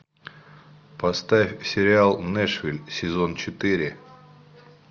поставь сериал нэшвилл сезон четыре